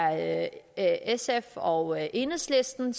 at det er sf og enhedslisten